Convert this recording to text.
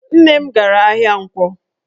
Nne m gara ahịa Nkwọ